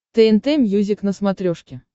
тнт мьюзик на смотрешке